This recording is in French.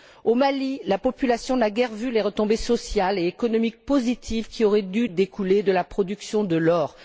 Au Mali, la population n'a guère vu les retombées sociales et économiques positives qui auraient dû découler de la production de l'or.